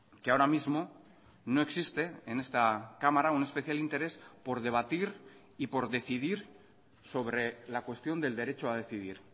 que ahora mismo no existe en esta cámara un especial interés por debatir y por decidir sobre la cuestión del derecho a decidir